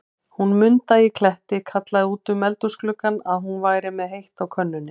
Hún Munda í Kletti kallaði út um eldhúsgluggann, að hún væri með heitt á könnunni.